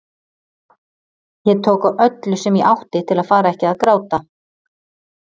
Ég tók á öllu sem ég átti til að fara ekki að gráta.